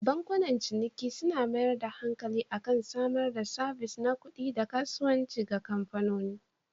Bankunan ciniki suna mayar da hankali akan samar da sabis na kuɗi ga kasuwane da kamfanoni.